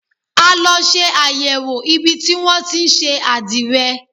A lọ ṣe àyẹ̀wò ibi tí wọn tí ń ṣe àdìrẹ.